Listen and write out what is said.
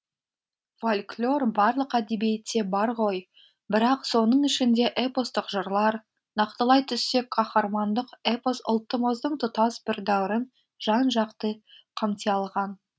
фольклор барлық әдебиетте бар ғой бірақ соның ішінде эпостық жырлар нақтылай түссек қаһармандық эпос ұлттымыздың тұтас бір дәуірін жан жақты қамти алған